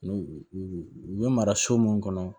N'u u bɛ mara so minnu kɔnɔ